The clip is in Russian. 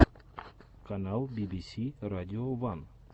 канал би би си радио ван